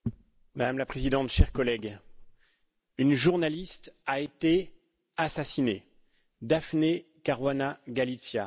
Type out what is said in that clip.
Madame la Présidente, chers collègues, une journaliste a été assassinée, Daphne Caruana Galizia.